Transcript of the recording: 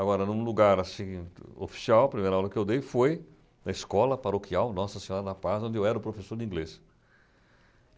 Agora, num lugar, assim, oficial, a primeira aula que eu dei foi na escola paroquial Nossa Senhora da Paz, onde eu era o professor de inglês.